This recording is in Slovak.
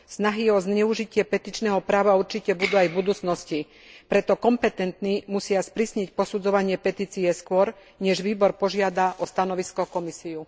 Snahy o zneužitie petičného práva určite budú aj v budúcnosti, preto kompetentní musia sprísniť posudzovanie petície skôr, než výbor požiada o stanovisko Komisiu.